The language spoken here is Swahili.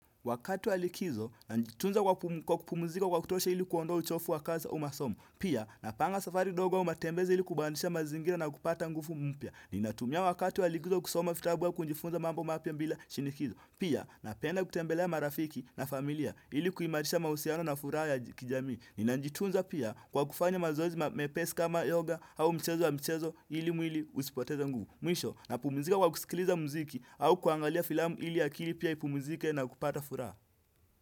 Wakati wa likizo, najitunza kwa kupumzika kwa kutosha ili kuondoa uchovu wa kazi au masomo. Pia, napanga safari ndogo au matembezi ili kubadisha mazingira na kupata nguvu mpya. Ninatumia wakati wa likizo kusoma vitabu au kujifunza mambo mapya bila shinikizo. Pia, napenda kutembelea marafiki na familia ili kuimarisha mahusiano na furaha ya kijami. Ninajitunza pia kwa kufanya mazoezi mepesi kama yoga au mchezo wa mchezo ili mwili usipoteze nguvu. Mwisho napumizika kwa kusikiliza mziki au kuangalia filamu ili akili pia ipumizike na kupata furaha.